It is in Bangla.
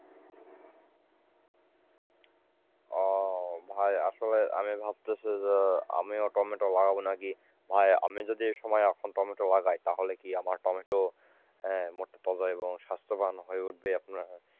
আহ ভাই আসলে আমি ভাবতাছি যে আমিও টমেটো লাগবো নাকি, ভাই আমি যদি এইসময় এখন টমেটো লাগায় তাহলে কি আমার টমেটো মোটা এবং স্বাস্থ্যবান হয়ে উঠবে।